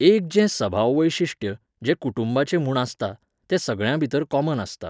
एक जें सभाव वैशिश्ट्य, जें कुटूंबाचें म्हूण आसता, तें सगळ्यांभितर कॉमन आसता